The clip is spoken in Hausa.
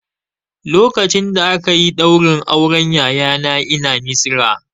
Lokacin da aka yi ɗaurin auren yayana ina Misira